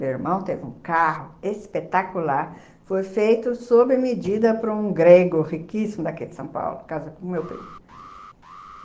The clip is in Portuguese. Meu irmão teve um carro espetacular, foi feito sob medida por um grego riquíssimo daqui de São Paulo, casa com o meu primo.